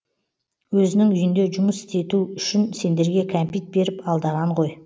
өзінің үйінде жұмыс істету үшін сендерге кәмпит беріп алдаған ғой